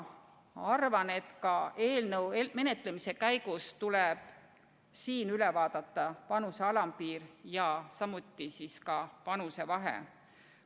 Arvan, et eelnõu menetlemise käigus tuleb üle vaadata ka see vanuse alampiir ja partnerite vanusevahe.